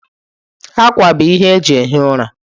Akwa bụ ihe eji ehi ụra.